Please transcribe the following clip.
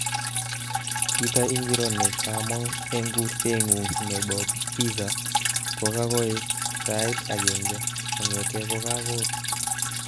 Kito ingiro nekamong eng kurte ngu nebo pizza kokakoek sait agenge kongetee kokakur